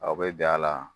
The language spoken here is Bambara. Aw bɛ bɛn a la